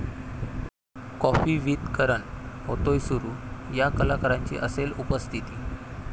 coffee with Karan' होतोय सुरू, 'या' कलाकारांची असेल उपस्थिती